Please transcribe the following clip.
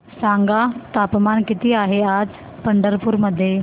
सांगा तापमान किती आहे आज पंढरपूर मध्ये